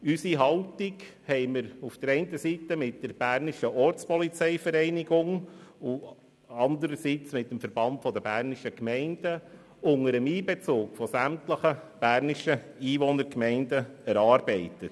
wir haben unsere Haltung einerseits mit der BOV, andererseits mit dem Verband Bernischer Gemeinden (VBG) unter Einbezug sämtlicher bernischer Einwohnergemeinden erarbeitet.